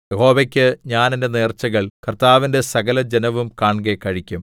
യഹോവയ്ക്ക് ഞാൻ എന്റെ നേർച്ചകൾ കർത്താവിന്റെ സകലജനവും കാൺകെ കഴിക്കും